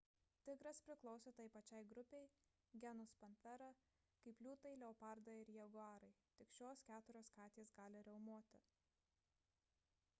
tigras priklauso tai pačiai grupei genus panthera kaip liūtai leopardai ir jaguarai. tik šios keturios katės gali riaumoti